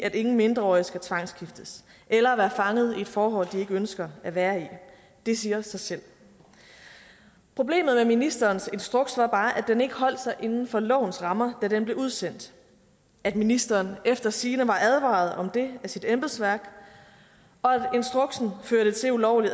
at ingen mindreårige skal tvangsgiftes eller være fanget i et forhold de ikke ønsker at være i det siger sig selv problemet med ministerens instruks var bare at den ikke holdt sig inden for lovens rammer da den blev udsendt at ministeren efter sigende var advaret om det af sit embedsværk og at instruksen førte til ulovlig